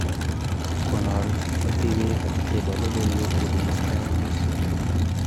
konoo metewek chebo logoiwek chebunu sky news